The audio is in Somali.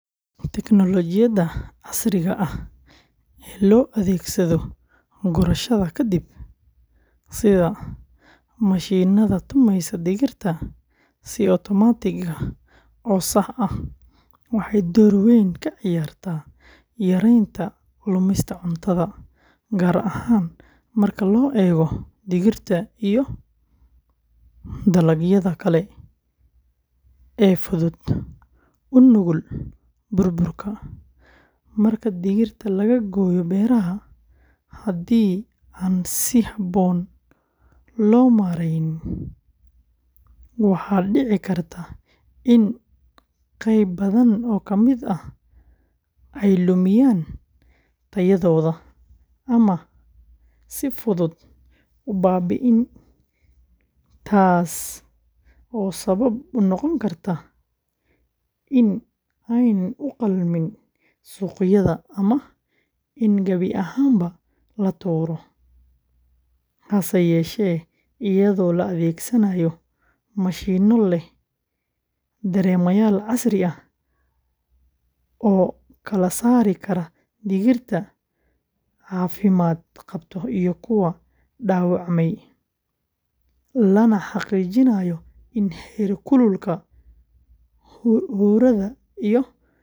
Tignoolajiyada casriga ah ee loo adeegsado gurashada ka dib, sida mashiinnada tumaysa digirta si otomaatig ah oo sax ah, waxay door weyn ka ciyaartaa yareynta lumista cuntada, gaar ahaan marka la eego digirta iyo dalagyada kale ee fudud u nugul burburka. Marka digirta laga gooyo beeraha, haddii aan si habboon loo maarayn, waxaa dhici karta in qayb badan oo ka mid ah ay lumiyaan tayadooda ama ay si fudud u baabi’aan, taasoo sabab u noqon karta in aanay u qalmin suuqyada ama in gabi ahaanba la tuuro. Hase yeeshee, iyadoo la adeegsanayo mashiinno leh dareemayaal casri ah oo kala saari kara digirta caafimaad qabta iyo kuwa dhaawacmay, lana xaqiijinayo in heer kulka, huurada, iyo cadaadiska lagu.